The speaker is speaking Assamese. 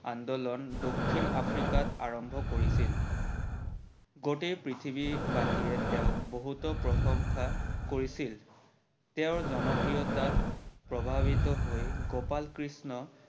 আন্দোলন দক্ষিণ আফ্ৰিকাত আৰম্ভ কৰিছিল। গোটেই পৃথিৱী বাসীয়ে তেওক বহুতো প্ৰসংশা কৰিছিল। তেওৰ জনপ্ৰিয়তা প্ৰভাৱিত হৈ গোপাল কৃষ্ণ